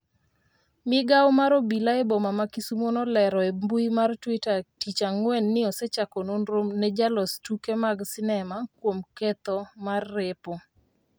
migawo mar obila eboma ma Kisumo nolero e mbui mar twita tich ang'wen ni osechako nonro ne jalos tuke mag sinema kuom ketho mar repo